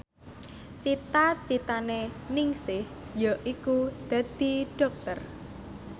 cita citane Ningsih yaiku dadi dokter